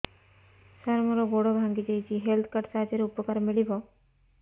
ସାର ମୋର ଗୋଡ଼ ଭାଙ୍ଗି ଯାଇଛି ହେଲ୍ଥ କାର୍ଡ ସାହାଯ୍ୟରେ ଉପକାର ମିଳିବ